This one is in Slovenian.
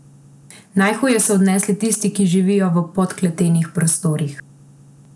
Najhuje so jo odnesli tisti, ki živijo v podkletenih prostorih.